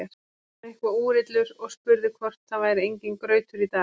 Hann var eitthvað úrillur og spurði hvort það væri enginn grautur í dag.